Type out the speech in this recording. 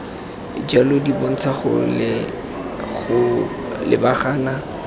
jalo di bontsha go lebagana